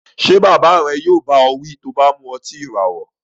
Ṣé bàbá rẹ yóò bá ọ wí bí ìràwọ̀ ọtí rẹ bá mu